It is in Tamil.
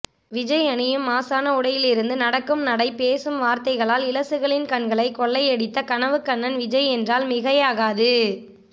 விஜய் அனியும் மாஷான உடையிலிருந்து நடக்கும் நடை பேசும் வார்த்தைகளால் இளசுகளின் கண்களை கொள்ளையடித்த கனவுக்கண்ணன் விஜய் என்றால் மிகையாகது